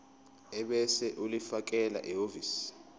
ebese ulifakela ehhovisi